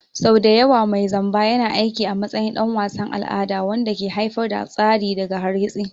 Sau da yawa mai zamba yana aiki a matsayin ɗan wasan al'ada wanda ke haifar da tsari daga hargitsi.